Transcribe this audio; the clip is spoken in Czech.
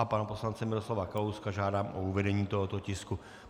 A pana poslance Miroslava Kalouska žádám o uvedení tohoto tisku.